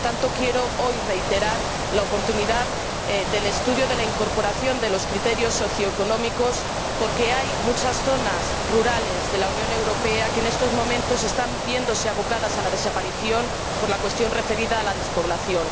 Por lo tanto, quiero reiterar hoy la oportunidad del estudio de la incorporación de los criterios socioeconómicos, porque hay muchas zonas rurales de la Unión Europea que en estos momentos se están viendo abocadas a la desaparición a causa de la despoblación.